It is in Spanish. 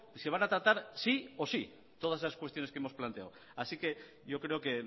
se van a tratar sí o sí todas esas cuestiones que hemos planteado así que yo creo que